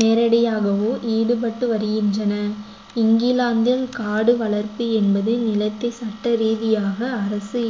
நேரடியாகவோ ஈடுபட்டு வருகின்றன இங்கிலாந்தில் காடு வளர்ப்பு என்பது நிலத்தை சட்ட ரீதியாக அரசு